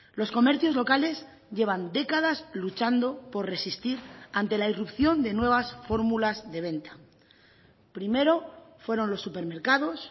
los comercios locales llevan décadas luchando por resistir ante la irrupción de nuevas fórmulas de venta primero fueron los supermercados